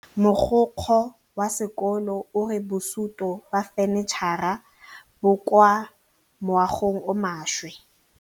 Mogokgo wa sekolo a re bosutô ba fanitšhara bo kwa moagong o mošwa.